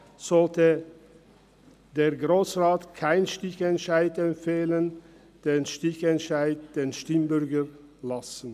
Deshalb sollte er keinen Stichentscheid empfehlen, sondern den Stichentscheid den Stimmbürgern überlassen.